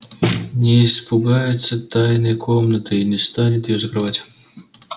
не испугается тайной комнаты и не станет её закрывать